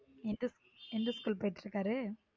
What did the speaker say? எந்த school போயிடு இருக்காரு.